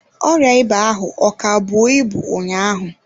Ọrịa ịba ahụ ọ ka bụọ ibu ụnyaahụ?